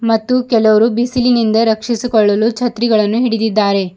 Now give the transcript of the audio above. ಮತ್ತು ಕೆಲವರು ಬಿಸಿಲಿನಿಂದ ರಕ್ಷಿಸಿಕೊಳ್ಳಲು ಛತ್ರಿಗಳನ್ನು ಹಿಡಿದಿದ್ದಾರೆ.